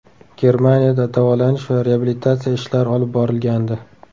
Germaniyada davolanish va reabilitatsiya ishlari olib borilgandi .